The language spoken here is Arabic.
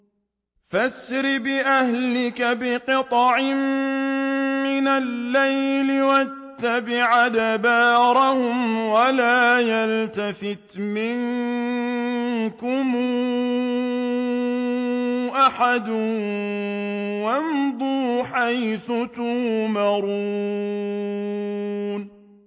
فَأَسْرِ بِأَهْلِكَ بِقِطْعٍ مِّنَ اللَّيْلِ وَاتَّبِعْ أَدْبَارَهُمْ وَلَا يَلْتَفِتْ مِنكُمْ أَحَدٌ وَامْضُوا حَيْثُ تُؤْمَرُونَ